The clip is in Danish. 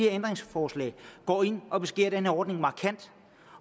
ændringsforslag går ind og beskærer den her ordning markant